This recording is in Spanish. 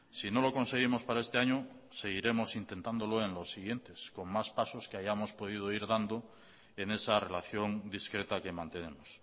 si no lo conseguimos para este año seguiremos intentándolo en los siguientes con más pasos que hayamos podido ir dando en esa relación discreta que mantenemos